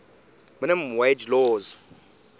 minimum wage laws